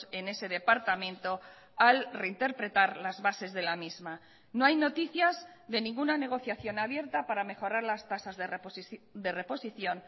en ese departamento al reinterpretar las bases de la misma no hay noticias de ninguna negociación abierta para mejorar las tasas de reposición